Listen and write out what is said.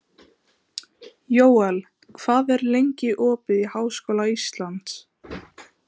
Jóel, hvað er lengi opið í Háskóla Íslands?